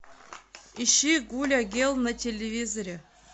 ищи гуля гел на телевизоре